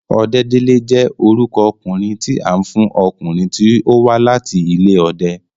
Ọdẹ́délé jẹ́ orúkọ okùnrin tí a ń fún ọkùnrin tí ó wa láti ilé ọdẹ